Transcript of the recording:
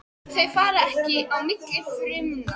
Þau fara ekki á milli frumna.